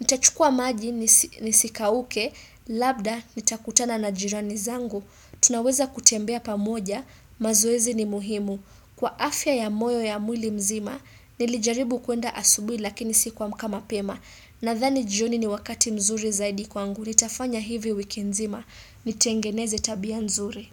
nitachukua maji nisikauke, labda nitakutana na jirani zangu, tunaweza kutembea pamoja, mazoezi ni muhimu, kwa afya ya moyo ya mwili mzima, nilijaribu kuenda asubuhi lakini sikuamka mapema, Nadhani jioni ni wakati mzuri zaidi kwangu, nitafanya hivi wiki nzima, nitengeneze tabia mzuri.